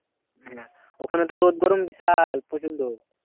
ওখানে তো রোদ গরম বিশাল প্রচন্ড।